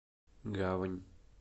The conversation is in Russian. гавань